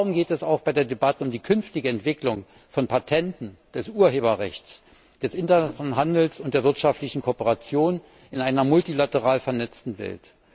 Darum geht es auch bei der Debatte um die künftige Entwicklung von Patenten, des Urheberrechts, des internationalen Handels und der wirtschaftlichen Kooperation in einer multilateral vernetzten Welt.